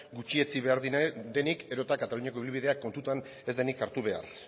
gutxietsi behar denik edota kataluniako ibilbidea kontutan ez denik hartu behar